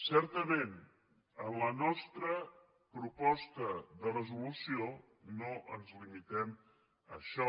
certament en la nostra proposta de resolució no ens limitem a això